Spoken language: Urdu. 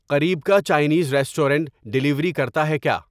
قریب کا چائینز ریسٹورنٹ ڈیلیوری کرتا ہے کیا